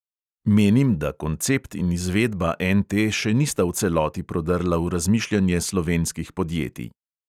Menim, da koncept in izvedba NT še nista v celoti prodrla v razmišljanje slovenskih podjetij.